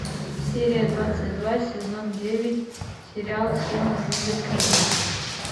серия двадцать два сезон девять сериал все ненавидят криса